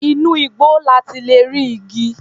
Inú igbó la ti lè rí igi.